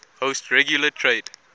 host regular trade